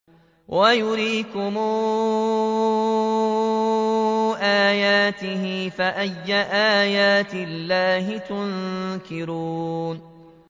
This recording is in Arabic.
وَيُرِيكُمْ آيَاتِهِ فَأَيَّ آيَاتِ اللَّهِ تُنكِرُونَ